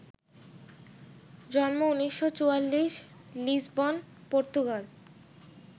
জন্ম ১৯৪৪, Lisbon, Portugal